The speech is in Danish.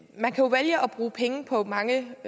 bruge penge på mange